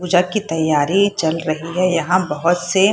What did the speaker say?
पूजा की तैयारी चल रही है यहाँ बहत से --